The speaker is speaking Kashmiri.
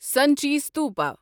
سنچی ستوپا